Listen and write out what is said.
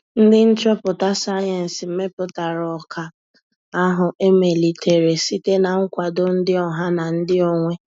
Ndị nchọpụta sayensị meputara ọka ahụ emelitere site na nkwado ndị ọha na ndị onwe